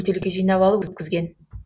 бөтелке жинап алып өткізген